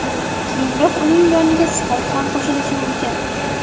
Keyinroq uning yoniga Spark ham qo‘shilishi mumkin.